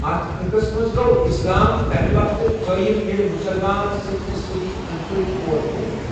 اتھ خٕطس منٛز گوو اسلام تمہِ وقتہٕ قٲئم ییٚلہِ مسلمان سٔتِمہِ صدی أندۍ پٔكۍ اور وٲتۍ ۔